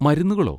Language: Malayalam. മരുന്നുകളോ?